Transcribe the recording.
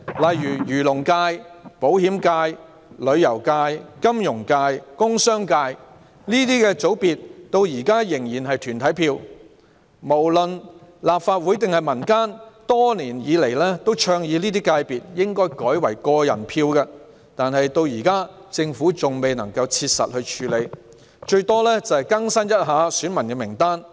例如，漁農界、保險界、旅遊界、金融界、工商界等界別至今仍然是團體票，立法會及市民年來倡議這些界別應改為個人票，但政府至今未能切實處理，最多只是更新選民名單。